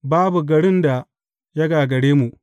Babu garin da ya gaggare mu.